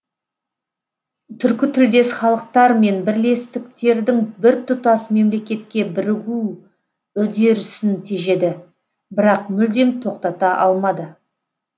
түркі тілдес халықтар мен бірлестіктердің біртұтас мемлекетке бірігу үдерісін тежеді бірақ мүлдем тоқтата алмады